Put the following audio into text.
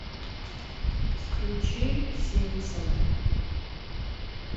включи симпсоны